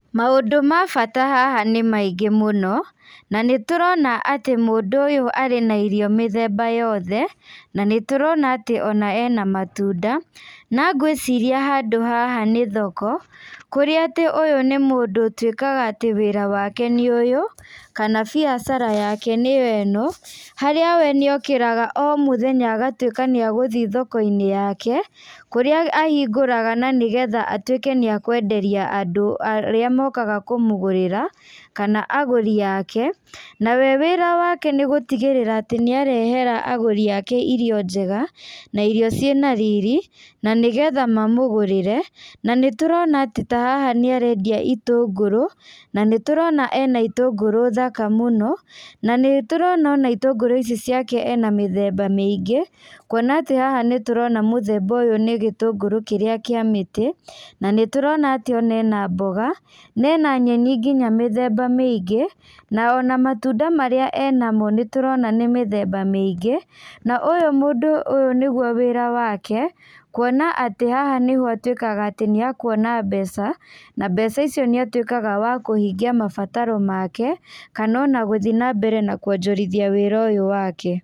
Mandũ ma bata haha nĩ maingĩ muno, na nĩ tũrona atĩ mũndũ ũyũ arĩ na irio mĩthemba yothe, na nĩ tũrona atĩ ona ena matunda. Na gwĩciria handũ haha nĩ thoko ,kũrĩa atĩ ũyũ nĩ mũndũ ũtuĩkaga atĩ wĩra wake nĩ ũyũ kana biacara yake nĩyo ĩno. Harĩa we nĩ okĩraga o mũthenya agatuĩka nĩ agũthiĩ thoko-inĩ yake, kũrĩa ahingũraga na nĩgetha atuĩke nĩ akũenderia nĩ akũenderia andũ arĩa mokaga kũmũgũrĩra kana agũri ake. Na we wĩra wake nĩ gũtigĩrĩra atĩ nĩ arehera agũri ake irio njega, na irio ciĩ na riri, na nĩgetha mamũgũrĩre. Na nĩ tũrona atĩ ta haha nĩ arendia itũngũrũ, na nĩ tũrona e na itũngũrũ thaka mũno, na nĩ tũrona ona itũngũrũ icio ciake e na mithemba mĩingĩ, kuona atĩ haha nĩtũrona mũthemba ũyũ nĩgĩtũngũrũ kĩrĩa kĩa mĩtĩ. Na nĩ tũrona atĩ ona ena mboga, na ena nyenĩ nginya, nginya mĩthemba mĩingĩ, na ona matunda marĩa e namo nĩ tũrona nĩ mĩthemba mĩingĩ. Na ũyũ mũndũ ũyũ nĩguo wĩra wake, kuona atĩ haha nĩho atuĩkaga atĩ nĩakũona mbeca na mbeca icio, nĩ atuĩkaga wa kũhingia mabataro make, kana ona gũthiĩ na mbere na kuonjorithia wĩra ũyũ wake.